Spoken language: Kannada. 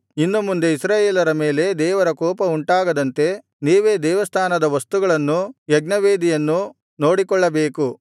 ಇನ್ನು ಮುಂದೆ ಇಸ್ರಾಯೇಲರ ಮೇಲೆ ದೇವರ ಕೋಪವುಂಟಾಗದಂತೆ ನೀವೇ ದೇವಸ್ಥಾನದ ವಸ್ತುಗಳನ್ನೂ ಯಜ್ಞವೇದಿಯನ್ನೂ ನೋಡಿಕೊಳ್ಳಬೇಕು